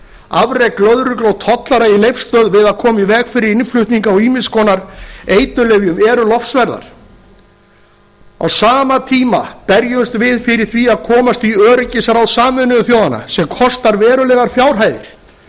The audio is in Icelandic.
afrek lögreglu og tollvarða í leifsstöð við að koma í veg fyrir innflutning á ýmiss konar eiturlyfjum eru lofsverð á sama tíma berjumst við fyrir því að komast í öryggisráð sameinuðu þjóðanna sem kostar verulegar fjárhæðir